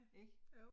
Ik